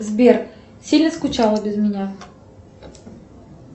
сбер сильно скучала без меня